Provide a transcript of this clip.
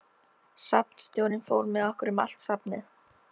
Safnstjórinn fór með okkur um allt safnið.